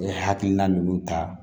N ye hakilina minnu ta